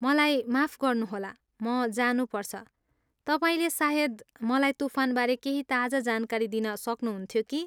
मलाई माफ गर्नुहोला, म जानुपर्छ, तपाईँले सायद मलाई तुफानबारे केही ताजा जानकारी दिन सक्नुहुन्थ्यो कि?